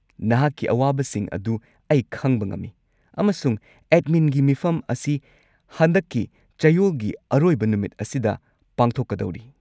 ꯅꯍꯥꯛꯀꯤ ꯑꯋꯥꯕꯁꯤꯡ ꯑꯗꯨ ꯑꯩ ꯈꯪꯕ ꯉꯝꯃꯤ ꯑꯃꯁꯨꯡ ꯑꯦꯗꯃꯤꯟꯒꯤ ꯃꯤꯐꯝ ꯑꯁꯤ ꯍꯟꯗꯛꯀꯤ ꯆꯌꯣꯜꯒꯤ ꯑꯔꯣꯏꯕ ꯅꯨꯃꯤꯠ ꯑꯁꯤꯗ ꯄꯥꯡꯊꯣꯛꯀꯗꯧꯔꯤ꯫